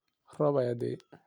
Roob aya da'ay.